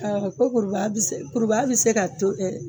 ko koribaya bi se korobaya bi se ka to